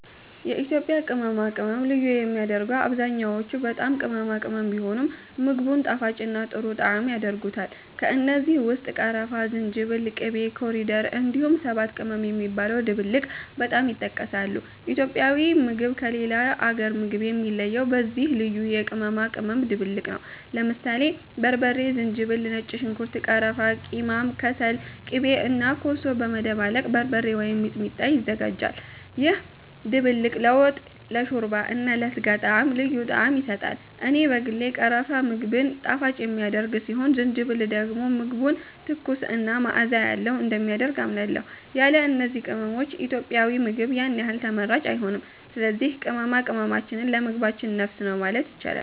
የኢትዮጵያ ቅመማ ቅመም ልዩ የሚያደርገው አብዛኛዎቹ በጣም ቅመማ ቅመም ቢሆኑም፣ ምግቡን ጣፋጭና ጥሩ ጣዕም ያደርጉታል። ከእነዚህ ውስጥ ቀረፋ፣ ዝንጅብል፣ ቂቤ (ኮሪደር)፣ እንዲሁም ሰባት ቅመም የሚባለው ድብልቅ በጣም ይጠቀሳሉ። ኢትዮጵያዊ ምግብ ከሌላ አገር ምግብ የሚለየው በዚህ ልዩ የቅመማ ቅመም ድብልቅ ነው። ለምሳሌ በርበሬ፣ ዝንጅብል፣ ነጭ ሽንኩርት፣ ቀረፋ፣ ቂማም (ከሰል)፣ ቂቤ እና ኮሶ በመደባለቅ “በርበሬ” ወይም “ሚጥሚጣ” ይዘጋጃል። ይህ ድብልቅ ለወጥ፣ ለሾርባ እና ለስጋ ጣዕም ልዩ ጣዕም ይሰጣል። እኔ በግሌ ቀረፋ ምግብን ጣፋጭ የሚያደርግ ሲሆን ዝንጅብል ደግሞ ምግቡን ትኩስ እና መዓዛ ያለው እንደሚያደርግ አምናለሁ። ያለ እነዚህ ቅመሞች ኢትዮጵያዊ ምግብ ያን ያህል ተመራጭ አይሆንም። ስለዚህ ቅመማ ቅመማችን ለምግባችን ነፍስ ነው ማለት ይቻላል።